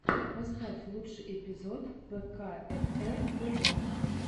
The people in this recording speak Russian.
поставь лучший эпизод пэкаэфэр тэвэ